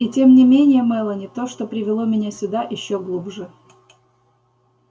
и тем не менее мелани то что привело меня сюда ещё глубже